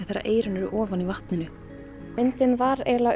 þegar eyrun eru ofan í vatninu myndin var